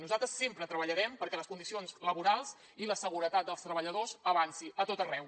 nosaltres sempre treballarem perquè les condicions laborals i la seguretat dels treballadors avanci a tot arreu